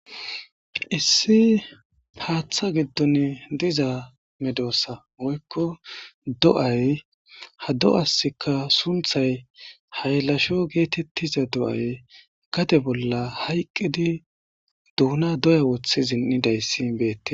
Issi hatha gidon diza medoza woyko do'ay ha do'asika sunthay haylasho getetiza do'ay gade bola hayqidi Dona doya wotidine zin'idaysi betes.